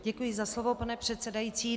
Děkuji za slovo, pane předsedající.